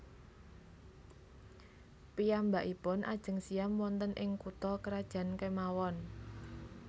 Piyambakipun ajeng siyam wonten ing kutha krajan kemawon